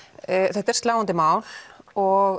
þetta er sláandi mál og